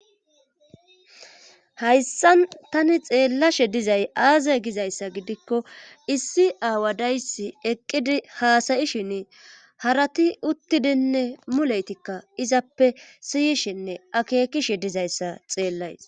hayssan tani xeellashe dizay aaza gizayssa gidikko issi aawa daysi eqqidi haasayishin harati uttidinne muleytikka izappe siyishinne akeekishe dizayssa xeellays